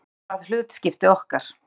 Grátur varð hlutskipti okkar.